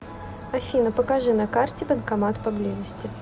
афина покажи на карте банкомат поблизости